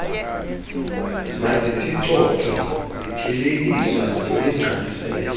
maziphicothwe zithelekiswa nemigqalisela